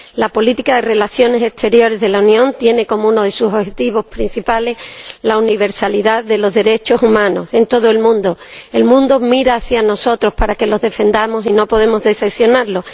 La política de relaciones exteriores de la Unión tiene como uno de sus objetivos principales la universalidad de los derechos humanos en todo el mundo el mundo mira hacia nosotros para que los defendamos y no podemos decepcionarlos.